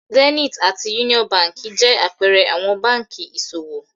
Zenith àti Union Báńkì jẹ àpẹẹrẹ àwọn báńkì ìṣòwò.